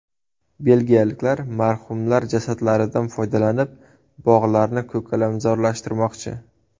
Belgiyaliklar marhumlar jasadlaridan foydalanib, bog‘larni ko‘kalamzorlashtirmoqchi.